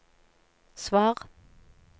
svar